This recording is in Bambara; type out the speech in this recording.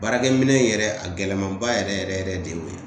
Baarakɛminɛn in yɛrɛ, a gɛlɛman ba yɛrɛ yɛrɛ yɛrɛ de y'o ye.